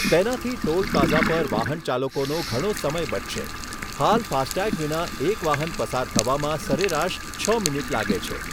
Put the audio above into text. તેનાથી toll plaza પર વાહનચાલકોનો ઘણો સમય બચશે. હાલ ફાસ્ટટેગ વિના એક વાહન પસાર થવામાં સરેરાશ છ મિનિટ લાગે છે.